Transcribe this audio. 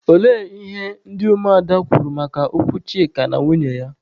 Olee ihe ndị ụmụ ada kwuru maka okwu Chika na nwunye ya?